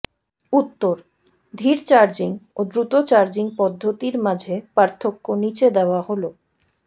উত্তরঃ ধীর চার্জিং ও দ্রুত চার্জিং পদ্ধতির মাঝে পার্থক্য নিচে দেওয়া হলঃ